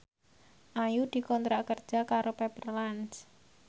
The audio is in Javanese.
Ayu dikontrak kerja karo Pepper Lunch